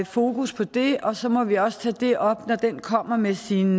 fokus på det og så må vi også tage det op når den kommer med sin